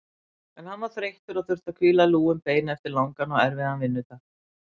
En hann var þreyttur og þurfti að hvíla lúin bein eftir langan og erfiðan vinnudag.